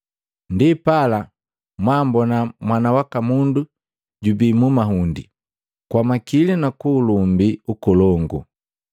Ndipala, mwaambona Mwana waka Mundu juhika jubii mu mahundi, kwa makili nu ulumbi nkolongu.